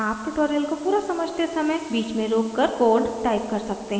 आप ट्यूटोरियल को पूरा समझते समय बीच में रोककर कोड टाइप कर सकते हैं